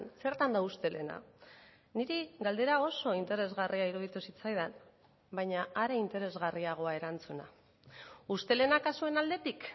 zertan da ustelena niri galdera oso interesgarria iruditu zitzaidan baina are interesgarriagoa erantzuna ustelena kasuen aldetik